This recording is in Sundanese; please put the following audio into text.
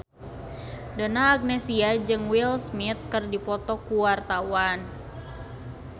Donna Agnesia jeung Will Smith keur dipoto ku wartawan